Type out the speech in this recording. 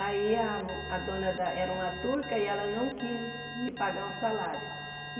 Aí a a dona da era uma turca e ela não quis me pagar um salário.